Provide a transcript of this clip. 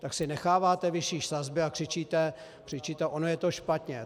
Tak si necháváte vyšší sazby a křičíte - ono je to špatně.